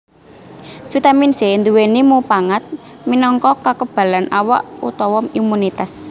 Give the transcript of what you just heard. Vitamin C nduwèni mupangat minangka kakebalan awak utawa imunitas